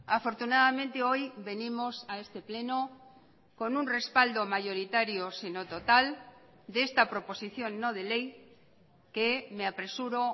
afortunadamente hoy venimos a este pleno con un respaldo mayoritario sino total de esta proposición no de ley que me apresuro